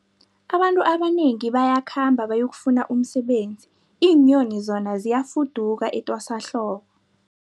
Abantu abanengi bayakhamba bayokufuna umsebenzi, iinyoni zona ziyafuduka etwasahlobo.